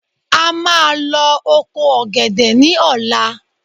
A máa lọ oko ọ̀gẹ̀dẹ̀ ní ọ̀la